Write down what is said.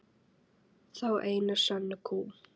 Þá einu sönnu kú.